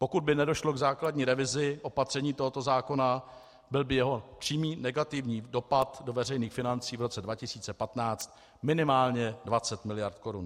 Pokud by nedošlo k základní revizi opatření tohoto zákona, byl by jeho přímý negativní dopad do veřejných financí v roce 2015 minimálně 20 mld. korun.